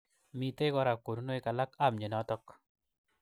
Mitei kora konunoik alak ab mnyenotok.